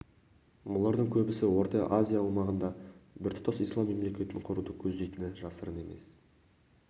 бұлардың көбісі орта азия аумағында біртұтас ислам мемлекетін құруды көздейтіні жасырын емес